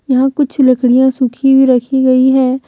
यहां कुछ लकड़ियां सुखी हुई रखी गई है।